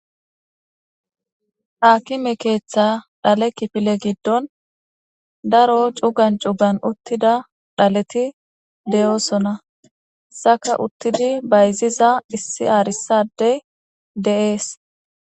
Aakime keeththa dhale kifile giddon daro cugan cugan uttida dhaleti de'oosona. Hesaka uttidi bayziza issi aarissa addey de'ees.